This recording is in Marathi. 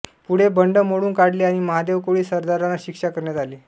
पुढे बंड मोडून काढले आणि महादेव कोळी सरदारांना शिक्षा करण्यात आली